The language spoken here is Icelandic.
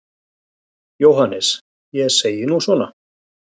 JÓHANNES: Ég segi nú svona.